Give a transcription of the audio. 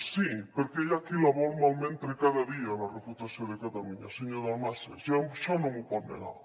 sí perquè hi ha qui la vol malmetre cada dia la reputació de catalunya senyor dalmases i això no m’ho pot negar